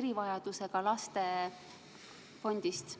erivajadusega laste fondist?